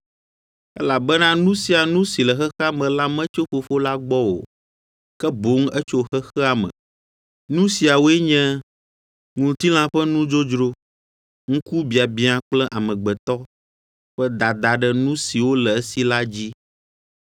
Elabena nu sia nu si le xexea me la metso Fofo la gbɔ o, ke boŋ etso xexea me. Nu siawoe nye: ŋutilã ƒe nudzodzro, ŋkubiabiã kple amegbetɔ ƒe dada ɖe nu siwo le esi la dzi.